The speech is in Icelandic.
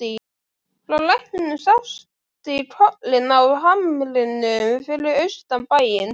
Frá læknum sást í kollinn á hamrinum fyrir austan bæinn.